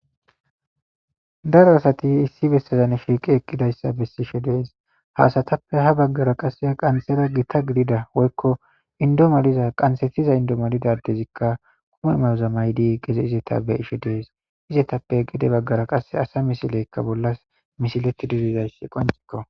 daro asati issi bessazan shiiqi eqqidayssa bessishe dees haasatappe ha baggara qase ha qanxera gita gidida woykko indo maliza qansetiza indo malidadezikka kuma mayoza maydi geze izeta be ishe dees izetappe gede baggara qase asa misileykka bollas misileti dirizayssi qoncikko